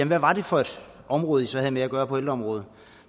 hvad var det for et område i så havde med at gøre på ældreområdet